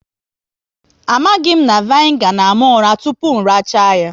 Amaghị na vinegar na àmà ụra tụpụ racha ya